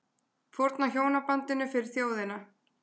Fórna hjónabandinu fyrir þjóðina